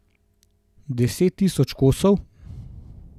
Deset tisoč kosov?